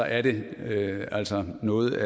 er det altså noget